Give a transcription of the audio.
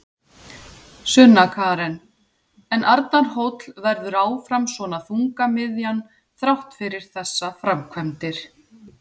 Sunna Karen: En Arnarhóll verður áfram svona þungamiðjan þrátt fyrir þessar framkvæmdir?